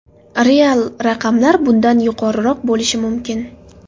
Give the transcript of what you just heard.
Real raqamlar bundan yuqoriroq bo‘lishi mumkin.